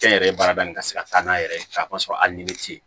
Kɛnyɛrɛye baarada nin ka se ka taa n'a yɛrɛ ye k'a k'a sɔrɔ hali ni ti yen